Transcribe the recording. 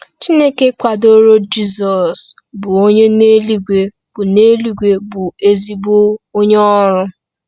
Chineke kwadoro Jizọs, bụ onye n’eluigwe bụ n’eluigwe bụ ezigbo onye ọrụ.